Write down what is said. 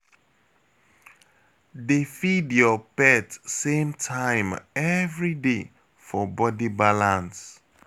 Dey feed your pet same time every day for body balance